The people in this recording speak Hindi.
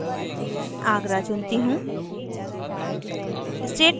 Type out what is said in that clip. city में agra चुनती choose